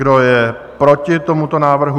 Kdo je proti tomuto návrhu?